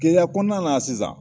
Gɛlɛya kɔnɔna na sisan